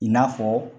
I n'a fɔ